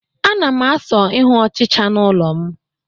A na m asị ịhụ ọchịcha n'ụlọ m